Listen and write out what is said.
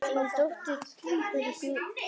Þín dóttir, Guðlaug Anna.